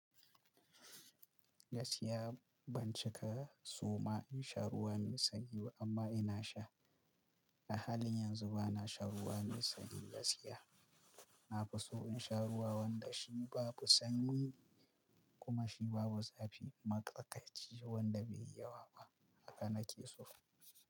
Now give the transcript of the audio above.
Gaskiya ban cika so ma in sha ruwa mai sanyi ba amma ina sha. A halin yanzu ba na sha ruwa mai sanyi gaskiya. Na fi so in sha ruwa wanda shi babu sanyi kuma shi babu zafi, maƙarkaci wanda bai yi yawa ba haka nake so.